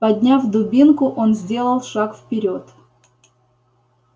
подняв дубинку он сделал шаг вперёд